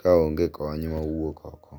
ka onge kony ma wuok oko.